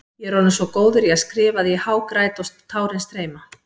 Ég er orðinn svo góður í að skrifa að ég hágræt og tárin streyma.